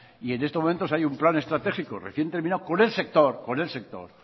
y en estos momentos hay un plan estratégico recién terminado con el sector